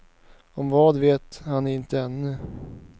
Om vad vet han inte ännu.